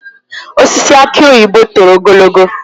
Osisi aki oyibo toro ogologo